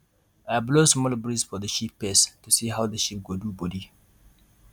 i blow small breeze for the sheep face to see how the sheep go do body